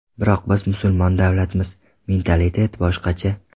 Biroq biz musulmon davlatmiz, mentalitet boshqacha.